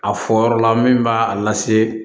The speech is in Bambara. A fɔ yɔrɔ la min b'a lase